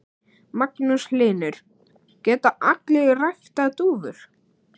Magnús Hlynur: Geta allir ræktað dúfur?